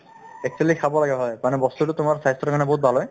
actually খাব লাগে হয় মানে বস্তুতো তোমাৰ স্বাস্থ্যৰ কাৰণে বহুত ভাল হয়